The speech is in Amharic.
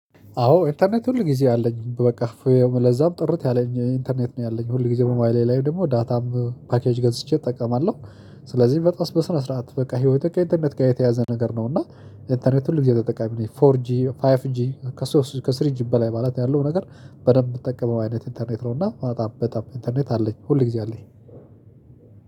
አዎ ኢንተርኔት ሁል ጊዜ አለኝ በቃ ለዛውም ጥርት ያለኝ ኢንተርኔት ነው ያለኝ ሁል ጊዜ ሞባይሌ ላይ ደግሞ ዳታም ፓኬጅ ገዝቼ እጠቀማለሁ። ስለዚህ በጣም በስነ ስርዓት በቃ ህይወቴ ከኢንተርኔት ጋር የተያያዘ ነገር ነው እና ኢንተርኔት ሁል ጊዜ ተጠቃሚ ነኝ። ፎር ጂ ፋይቭ ጂ ከስሪ ጂ በላይ ማለት ያለው ነገር። በደንብ የምትጠቀመው አይነት ኢንተርኔት ነው እና በጣም በጣም ኢንተርኔት አለኝ ሁል ጊዜ አለኝ።